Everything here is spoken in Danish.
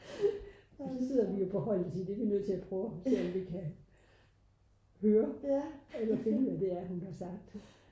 og så sidder vi jo på holdet og siger det er vi nødt til at prøve at se om vi kan høre eller finde hvad det er hun har sagt